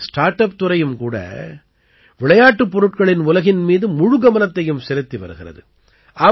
நம்முடைய start up துறையும் கூட விளையாட்டுப் பொருட்களின் உலகின் மீது முழுக்கவனத்தையும் செலுத்தி வருகிறது